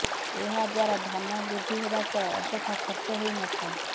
ଏହାଦ୍ୱାରା ଧନ ବୃଦ୍ଧି ହେବା ସହ ଅଯଥା ଖର୍ଚ୍ଚ ହୋଇନଥାଏ